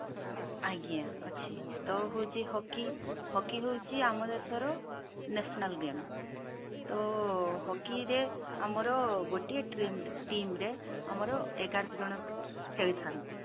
ଆଜ୍ଞା ଅଛି ତ ହଉଛି hockey hockey ହଉଛି ଆମ ଦେଶ ର national game ତ hockey ରେ ଆମର ଗୋଟିଏ team team ରେ ଆମର ଏଗାର ଜଣ ଖେଳିଥାନ୍ତି